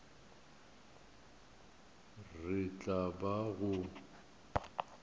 re e tla ba go